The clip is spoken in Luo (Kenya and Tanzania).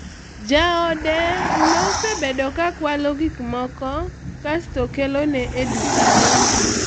mume wake alikuwa akiiiba vitu kisha anamletea kwenye duka lake